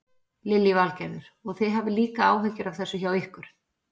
Lillý Valgerður: Og þið hafið líka áhyggjur af þessu hjá ykkur?